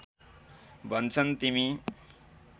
भन्छन् तिमी